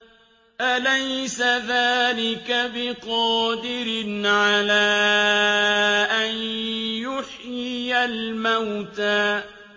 أَلَيْسَ ذَٰلِكَ بِقَادِرٍ عَلَىٰ أَن يُحْيِيَ الْمَوْتَىٰ